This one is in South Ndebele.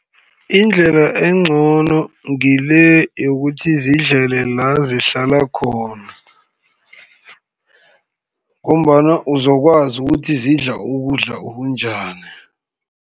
Indlela encono ngile yokuthi zidlele la, zihlala khona, ngombana uzokwazi ukuthi zidla ukudla okunjani.